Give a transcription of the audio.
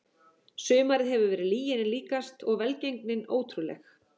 Sumarið hefur verið lyginni líkast og velgengnin ótrúleg.